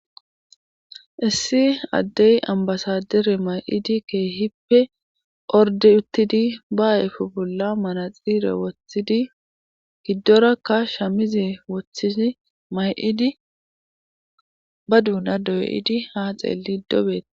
Issi addey ambasadere may7idi keehippe orde uttidi ba ayfu bolla mana xiire woththidi giddorakka shamize woththidi may7idi ba duuna doy7idi ha xeelli dobet.